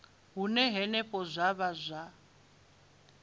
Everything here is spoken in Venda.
hune henefho zwa vha zwa